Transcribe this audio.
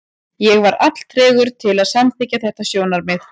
Ég var alltregur til að samþykkja þetta sjónarmið.